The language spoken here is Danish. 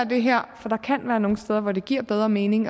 det her for der kan være nogle steder hvor det giver bedre mening